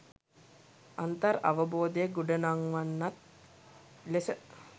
අන්තර් අවබෝධය ගොඩනංවන්නක් ලෙස